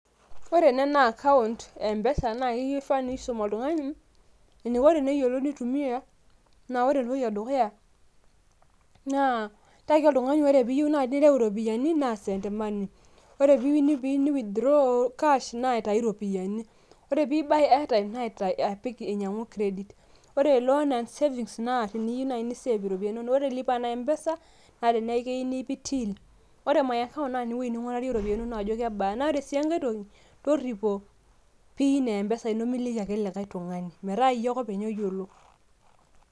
ore ena naa akaunt empesa naa kifaa nisum oltung'ani, eneiko teneitumia, naa ore entoki edukuya, naa tiaki oltungani ore naaji pee iyieu nireu iropiyiani, naa send money. ore pee iyieu ni withdraw cash naa aitau iropiyiani. ore pee i buy airtime naa ainyiangu kredit, ore loan and savings naa teniyieu naaii ni save iropiyiani inonok, ore lipa na mpesa naa tenii nipik till, ore my account naa ewueji ning'uarie iropiyiani inonok ajo kebaa, naa ore sii enkae toki, toripo pin empesa ino miliki ake likae tung'ani metaa iyie ake oyiolo.